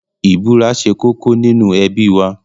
Ìbúra ṣe kókó nínú ẹbí wa.